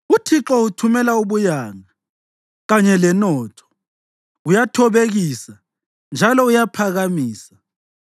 Uthixo uthumela ubuyanga kanye lenotho; uyathobekisa njalo uyaphakamisa.